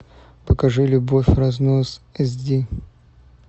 покажи любовь в разнос эс ди